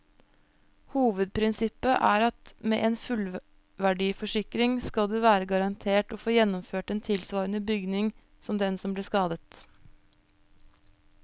Hovedprinsippet er at med en fullverdiforsikring skal du være garantert å få gjenoppført en tilsvarende bygning som den som ble skadet.